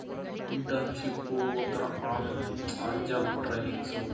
internship ಒಂಥರಾ on job training's